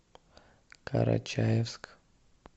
карачаевск